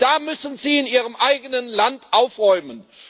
Da müssen Sie in Ihrem eigenen Land aufräumen!